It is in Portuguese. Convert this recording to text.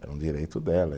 Era um direito dela.